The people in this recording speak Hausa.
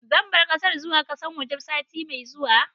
Zan bar kasar zuwa kasan waje sati mai zuwa.